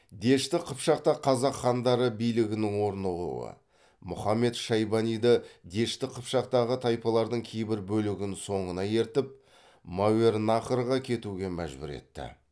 дешті қыпшақта қазақ хандары билігінің орнығуы мұхаммед шайбаниды дешті қыпшақтағы тайпалардың кейбір бөлігін соңына ертіп мәуереннахрға кетуге мәжбүр етті